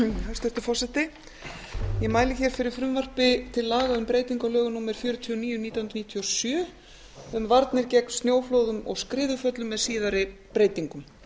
hæstvirtur forseti ég mæli fyrir frumvarpi til laga um breytingu á lögum númer fjörutíu og níu nítján hundruð níutíu og sjö um varnir gegn snjóflóðum og skriðuföllum með síðari breytingum